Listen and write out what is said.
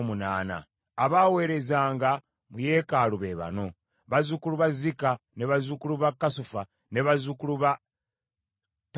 Abaaweerezanga mu yeekaalu be bano: bazzukulu ba Zika, bazzukulu ba Kasufa, bazzukulu ba Tabbawoosi,